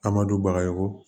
A ma don baga ye ko